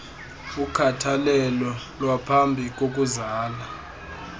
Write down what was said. ukhathalelo lwaphambi kokuzala